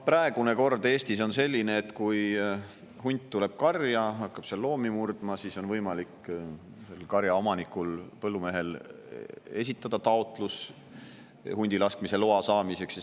Praegune kord on Eestis selline, et kui hunt tuleb karja ja hakkab seal loomi murdma, siis on võimalik karja omanikul, põllumehel, esitada taotlus hundilaskmise loa saamiseks.